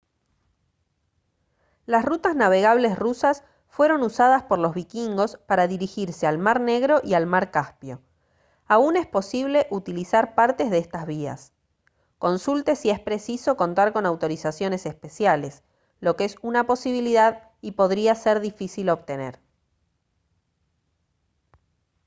las rutas navegables rusas fueron usadas por los vikingos para dirigirse al mar negro y al mar caspio aún es posible utilizar partes de estas vías consulte si es preciso contar con autorizaciones especiales lo que es una posibilidad y podría ser difícil obtener